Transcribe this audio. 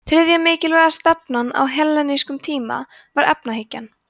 þriðja mikilvægasta stefnan á hellenískum tíma var efahyggjan